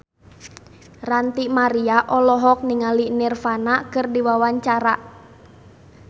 Ranty Maria olohok ningali Nirvana keur diwawancara